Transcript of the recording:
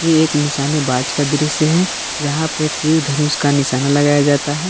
एक निशानेबाज का दृश्य है जहां पे तीर धनुष का निशान लगाया जाता है।